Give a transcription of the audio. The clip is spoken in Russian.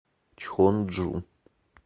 чхонджу